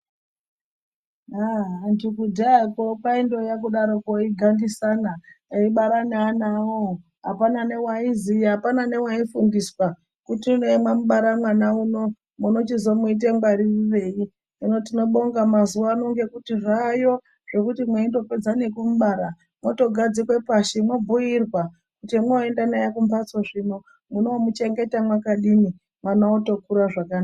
Antu kudhayakwo kwaiya kundodarokwo eigandisana eibara neana awowo apana newaiziya, apana newaifundisa kuti mwamubara mwana uno munochizomuita ngwaririrei. Hino tiñobonga mazuwano ngekuti zvayo zvekuti mweindopedza nekumubara mwotogadzikwe pashi mobhuirwa kuti mwoende kumhatso zvino munochengeta mwakadini mwana otokura zvakanaka.